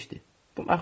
Qəribə eşitdim.